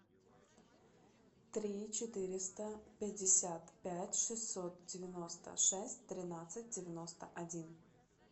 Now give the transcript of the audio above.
три четыреста пятьдесят пять шестьсот девяносто шесть тринадцать девяносто один